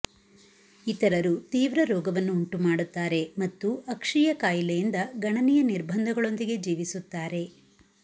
ಇತರರು ತೀವ್ರ ರೋಗವನ್ನು ಉಂಟುಮಾಡುತ್ತಾರೆ ಮತ್ತು ಅಕ್ಷೀಯ ಕಾಯಿಲೆಯಿಂದ ಗಣನೀಯ ನಿರ್ಬಂಧಗಳೊಂದಿಗೆ ಜೀವಿಸುತ್ತಾರೆ